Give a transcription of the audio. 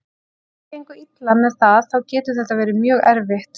Ef þér gengur illa með það þá getur þetta verið mjög erfitt.